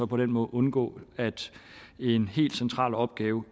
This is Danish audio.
på den måde undgå at en helt central opgave